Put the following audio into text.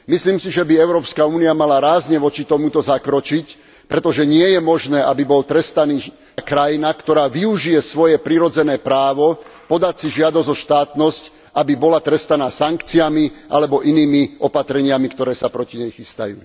Myslím si, že by Európska únia mala rázne voči tomuto zakročiť, pretože nie je možné, aby bola trestaná krajina, ktorá využije svoje prirodzené právo podať si žiadosť o štátnosť, aby bola trestaná sankciami alebo inými opatreniami, ktoré sa proti nej chystajú.